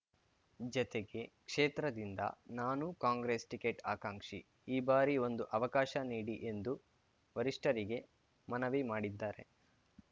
ಜತೆಗೆ ಕ್ಷೇತ್ರದಿಂದ ನಾನೂ ಕಾಂಗ್ರೆಸ್‌ ಟಿಕೆಟ್‌ ಆಕಾಂಕ್ಷಿ ಈ ಬಾರಿ ಒಂದು ಅವಕಾಶ ನೀಡಿ ಎಂದು ವರಿಷ್ಠರಿಗೆ ಮನವಿ ಮಾಡಿದ್ದಾರೆ